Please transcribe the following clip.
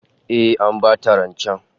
Eh, An bata rancen